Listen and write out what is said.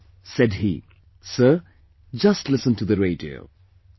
" Said he "Sir, just listen to the radio"